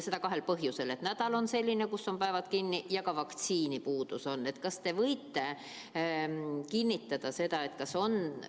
Seda kahel põhjusel: nädal on selline, kus päeval kinni, ja ka vaktsiine on puudu.